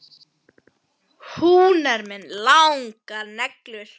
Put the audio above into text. Hún er með langar neglur.